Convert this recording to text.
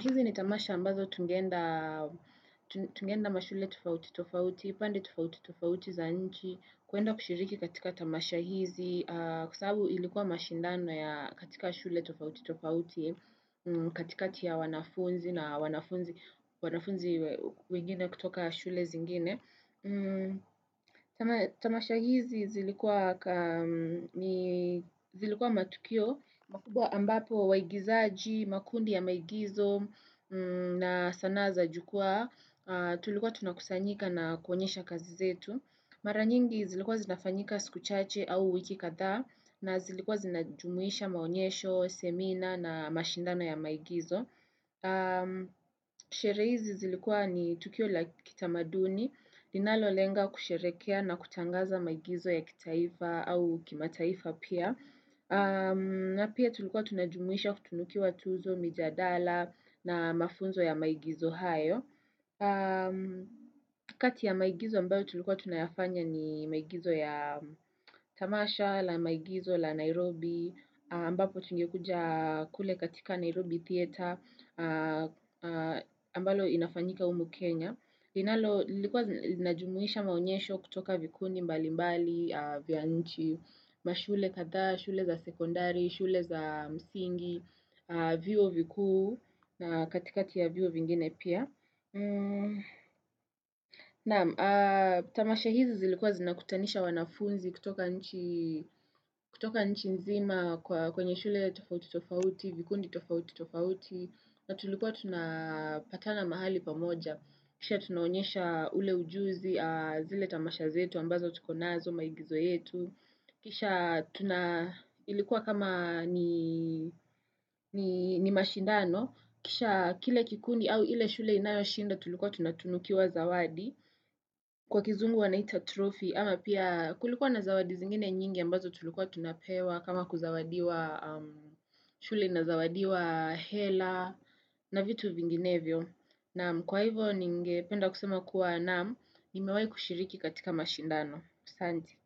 Hizi ni tamasha ambazo tungenda mashule tofauti tofauti, pande tofauti tofauti za nchi, kuenda kushiriki katika tamasha hizi kwa sababu ilikuwa mashindano ya katika mashule tofauti tofauti, katikati ya wanafunzi na wanafunzi wengine kutoka shule zingine Tamasha hizi zilikuwa matukio ambapo waigizaji, makundi ya maigizo na sanaa za jukwa Tulikuwa tunakusanyika na kuonyesha kazi zetu Mara nyingi zilikuwa zinafanyika siku chache au wiki kadhaa na zilikuwa zinajumuisha maonyesho, semina na mashindano ya maigizo Sherehe hizi zilikuwa ni tukio la kitamaduni linalo lenga kusherekea na kutangaza maigizo ya kitaifa au kimataifa pia. Pia tulikuwa tunajumuisha kutunukiwa tuzo, mijadala na mafunzo ya maigizo hayo. Kati ya maigizo ambayo tulikuwa tunayafanya ni maigizo ya Tamasha, la maigizo, la Nairobi, ambapo tungekuja kule katika Nairobi Theater ambayo inafanyika humu Kenya. Linalo, linajumuisha maonyesho kutoka vikundi mbali mbali, vya nchi, mashule kadhaa, shule za sekondari, shule za msingi, vyuo vikuu na katikati ya vyuoo vingine pia. Tamasha hizi zilikuwa zinakutanisha wanafunzi kutoka nchi nzima kwenye shule tofauti tofauti, vikundi tofauti tofauti, na tulikuwa tunapatana mahali pamoja. Kisha tunaonyesha ule ujuzi, zile tamasha zetu ambazo tukonazo maigizo yetu. Kisha ilikuwa kama ni mashindano. Kisha kile kikundi au ile shule inayo shinda tulikuwa tunatunukiwa zawadi. Kwa kizungu wanaita trophy ama pia kulikuwa na zawadi zingine nyingi ambazo tulikuwa tunapewa. Kama kuzawadiwa shule inazawadiwa hela na vitu vinginevyo. Naam kwa hivyo ningependa kusema kuwa naam kwa hivyo nimewahi kushiriki katika mashindano. Sante.